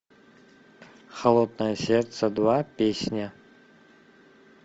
холодное сердце два песня